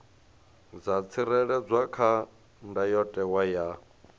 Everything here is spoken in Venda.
dza tsireledzwa kha ndayotewa ya